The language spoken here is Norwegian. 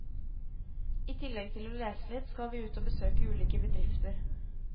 I tillegg til å lese litt, skal vi ut og besøke ulike bedrifter.